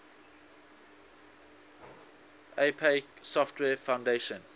apache software foundation